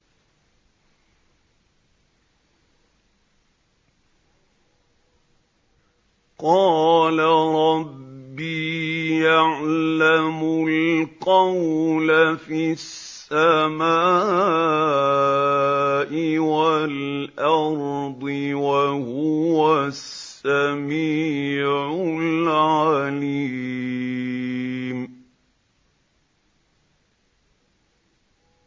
قَالَ رَبِّي يَعْلَمُ الْقَوْلَ فِي السَّمَاءِ وَالْأَرْضِ ۖ وَهُوَ السَّمِيعُ الْعَلِيمُ